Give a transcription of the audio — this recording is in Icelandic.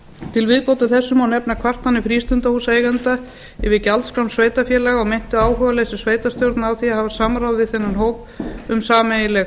til viðbótar þessu má nefna kvartanir frístundahúsaeigenda yfir gjaldskrám sveitarfélaga á meintu áhugaleysi sveitarstjórna á því að hafa samráð við þennan hóp um sameiginleg